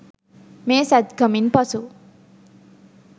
මේ "සැත්කමින්" පසු